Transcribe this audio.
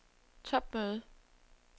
topmøde